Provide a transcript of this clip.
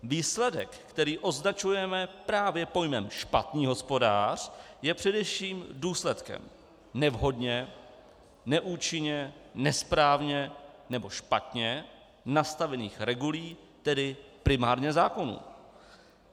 Výsledek, který označujeme právě pojmem špatný hospodář, je především důsledkem nevhodně, neúčinně, nesprávně nebo špatně nastavených regulí, tedy primárně zákonů.